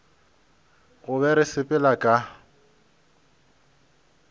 go be re sepela ka